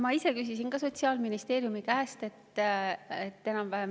Ma ise küsisin ka seda Sotsiaalministeeriumi käest.